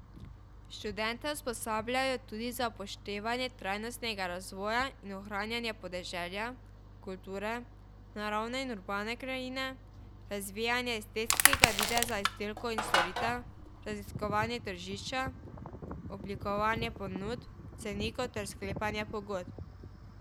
Študente usposabljajo tudi za upoštevanje trajnostnega razvoja in ohranjanja podeželja, kulturne, naravne in urbane krajine, razvijanje estetskega videza izdelkov in storitev, raziskovanje tržišča, oblikovanje ponudb, cenikov ter sklepanja pogodb.